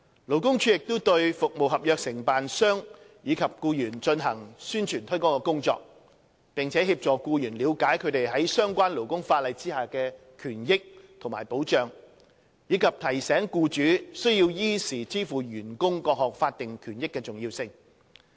勞工處亦對服務合約承辦商與其僱員進行宣傳推廣工作，並協助僱員了解他們在相關勞工法例下的權益和保障，以及提醒僱主須依時支付員工各項法定權益的重要性。